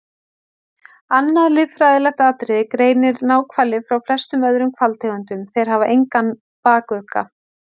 Annað líffræðilegt atriði greinir náhvali frá flestum öðrum hvalategundum- þeir hafa engan bakugga.